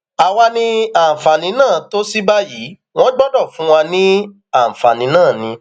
àwa ní àǹfààní náà tó sì báyìí wọn gbọdọ fún wa láǹfààní náà ni